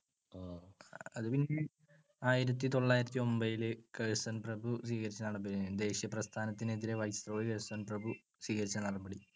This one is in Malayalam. അതുപിന്നെ ആയിരത്തിതൊള്ളായിരത്തിയൊൻപത്തില് കഴ്സൺ പ്രഭു ദേശീയപ്രസ്ഥാനത്തിനെതിരെ viceroy കഴ്സൺ പ്രഭു സ്വീകരിച്ച നടപടി.